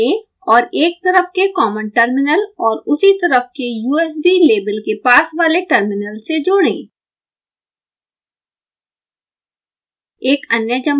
एक जम्पर लें और एक तरफ के कॉमन टर्मिनल और उसी तरफ के usb लेबल के पास वाले टर्मिनल से जोड़ें